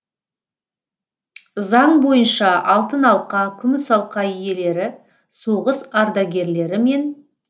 заң бойынша алтын алқа күміс алқа иелері соғыс ардагерлері мен